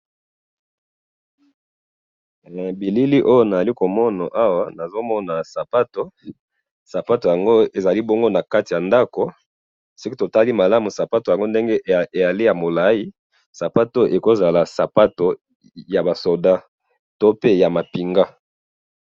na bilili oyo nazali komona awa, nazomona sapatu, sapatu yango ezali bongo nakati ya ndako, soki totali malamu sapatu yango ndenge yali ya molayi, sapatu ekozala sapatu yaba soldats, to pe ya mapinga